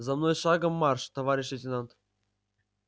за мной шагом марш товарищ лейтенант